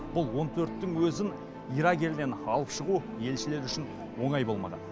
бұл он төрттің өзін ирак елінен алып шығу елшілер үшін оңай болмаған